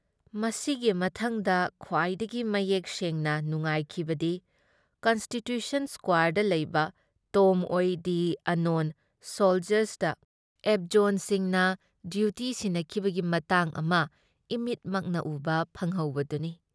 ꯃꯁꯤꯒꯤ ꯃꯊꯪꯗ ꯈ꯭ꯋꯥꯏꯗꯒꯤ ꯃꯌꯦꯛ ꯁꯦꯡꯅ ꯅꯨꯉꯥꯏꯈꯤꯕꯗꯤ ꯀꯟꯁ꯭ꯇꯤꯇ꯭ꯌꯨꯁꯟ ꯁ꯭ꯀꯋꯥꯔꯗ ꯂꯩꯕ tomb of the unknown soldiers ꯑꯦꯕꯖꯣꯟꯁꯤꯡꯅ ꯗ꯭ꯌꯨꯇꯤ ꯁꯤꯟꯅꯈꯤꯕꯒꯤ ꯃꯇꯥꯡ ꯑꯃ ꯏꯃꯤꯠꯃꯛꯅ ꯎꯕ ꯐꯪꯍꯧꯕꯗꯨꯅꯤ ꯫